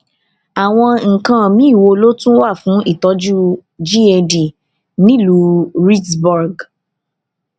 àwọn nǹkan míì wo ló tún wà fún ìtójú gad nílùú reedsburg